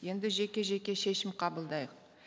енді жеке жеке шешім қабылдайық